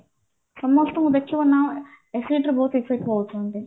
ସମସ୍ତଙ୍କୁ ଦେଖିବ ନା acidity ରେ ବହୁତ effect ହଉଛନ୍ତି